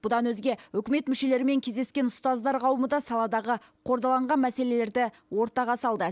бұдан өзге үкімет мүшелерімен кездескен ұстаздар қауымы да саладағы қордаланған мәселелерді ортаға салды